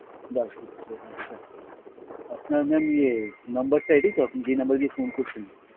দাসগুপ্ত আচ্ছা, আপনার mam ইয়ে number টা এটাই তো আপনি যেই number দিয়ে phone করছেন?